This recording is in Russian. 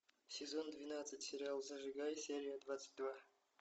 сезон двенадцать сериал зажигай серия двадцать два